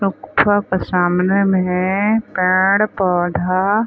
गुफा के सामने में है पेड़-पौधा--